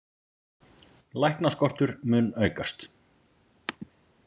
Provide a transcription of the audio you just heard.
Læknaskortur mun aukast